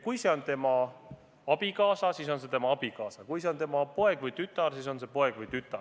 Kui see on tema abikaasa, siis on see tema abikaasa, ja kui see on tema poeg või tütar, siis on see tema poeg või tütar.